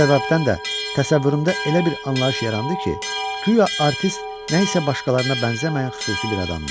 Bu səbəbdən də təsəvvürümdə elə bir anlayış yarandı ki, güya artist nə isə başqalarına bənzəməyən xüsusi bir adamdır.